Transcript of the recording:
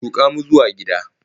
Tuka mu zuwa gida!